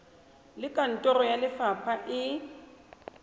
le kantoro ya lefapha e